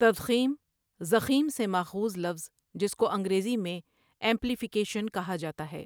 تضـخیم ضخیم سے ماخوذ لفظ جس کو انگریزی میں ایمپلیفیکیشن کہا جاتا ہے۔